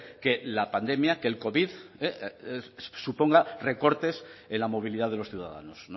que la pandemia que el covid suponga recortes en la movilidad de los ciudadanos